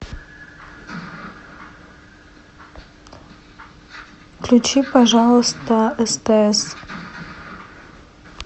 включи пожалуйста стс